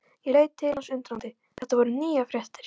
Ég leit til hans undrandi, þetta voru nýjar fréttir.